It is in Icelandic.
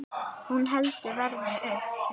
Hún heldur verðinu uppi.